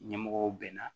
Ɲɛmɔgɔw bɛnna